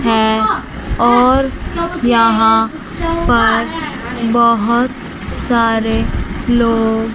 है और यहां पर बहुत सारे लोग --